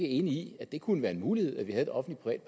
enig i at det kunne være en mulighed at vi havde et offentligt